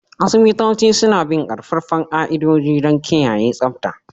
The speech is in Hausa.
Asibitoci suna bin ƙaƙƙarfan ƙa'idodi don kiyaye tsabta